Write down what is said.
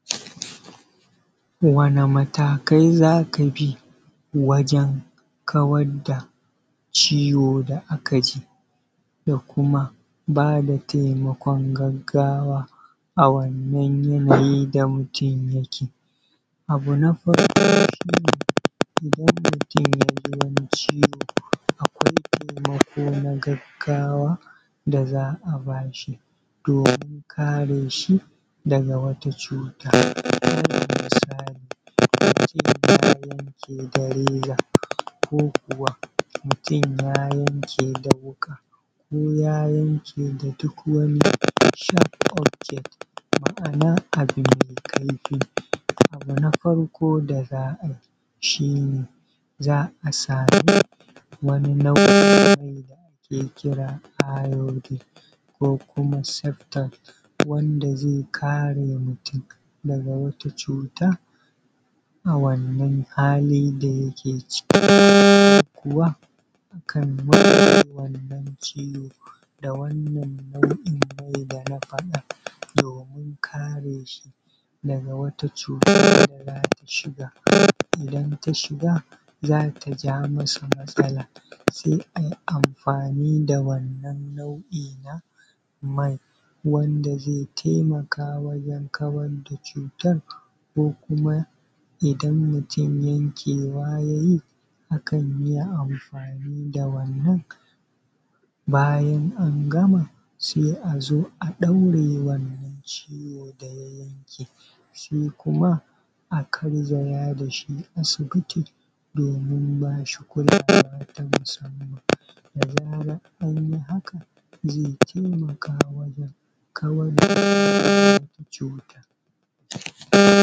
Wane matakai za ka bi wajen kawad da ciwo da aka ji da kuma baa da taimakon gaggawa a wannan yanayi da mutum yake? abu na farko shi ne idan mutum ya ji wani ciwo akwai taimako na gaggawa da za a ba shi doomin karee shi daga wata cuuta? Alal misali mutum ya yankee da reza ko kuwa mutum ya yankee da wuƙa ko ya yanke da duk wani sharp object ma'ana abu mai kaifii abu na farko da za a bii shi ne za a sami wani nau'i ne da ake kiraa iodine ko kuma septol wanda zai karee mutum daga wata cuuta a wannan halii da yake ciki. Dalili kuwa akan wannan ciwo da wannan nau'i da na faɗaa, doomin karee shi daga wata cuuta da za ta shiga, idan ta shiga zaa ta ja masa matsala sai in an amfaani da wannan nau'i na mai wanda zai taimaka wajen kawad da cuutar. Ko kuma idan mutum yankewa ya yii kan iya amfaini da wannan, bayan an gama sai a zo a ɗaure wannan ciwo da ya yanke shi kuma a garzaya da shi asibiti doomin baa shi kulawa ta musamman da zaran an yi haka zai taimaka wajen kawar da cuutar